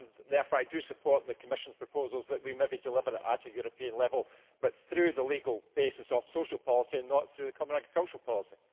Therefore I support the Commission's proposals that we maybe deliver it at a European level but through the legal basis of social policy and not through the common agricultural policy.